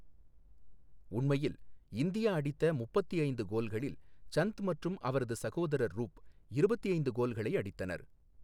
உண்மையில், இந்தியா அடித்த முப்பத்தி ஐந்து கோல்களில், சந்த் மற்றும் அவரது சகோதரர் ரூப் இருபத்தி ஐந்து கோல்களை அடித்தனர்.